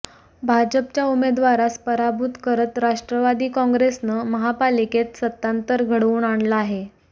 भाजपच्या उमेदवारास पराभूत करत राष्ट्रवादी काँग्रेसनं महापालिकेत सत्तांतर घडवून आणलं आहे